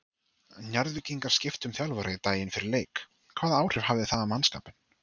Njarðvíkingar skiptu um þjálfara daginn fyrir leik, hvaða áhrif það hafði á mannskapinn?